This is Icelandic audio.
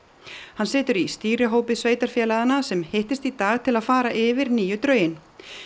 hann situr í stýrihópi sveitarfélaganna sem hittist í dag til að fara yfir nýju drögin